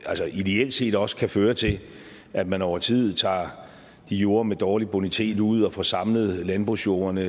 altså ideelt set også kan føre til at man over tid tager de jorder med dårlig bonitet ud og får samlet landbrugsjorderne